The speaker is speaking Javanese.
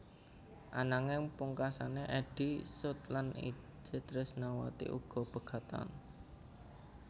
Ananging pungkasané Eddy Sud lan Itje Trisnawati uga pegatan